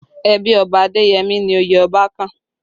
Ẹbí Ọba Adeyemi ni oyè Ọba kàn